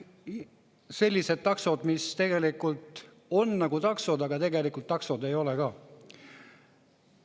– sellised taksod, mis on nagu taksod, aga tegelikult ei ole ka taksod.